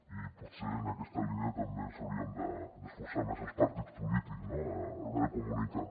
i potser en aquesta línia també ens hi hauríem d’esforçar més els partits polítics no a l’hora de comunicar